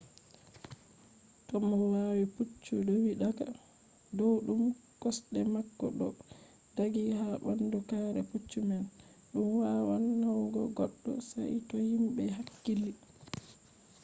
to mo wa’i puccu do’i daga dow ɗumb o kosɗe mako ɗo ɗaggi ha ɓandu kare puccu man ɗum wawan nauna goɗɗo. sai to himɓe hakkili